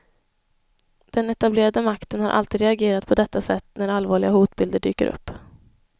Den etablerade makten har alltid reagerat på detta sätt när allvarliga hotbilder dyker upp.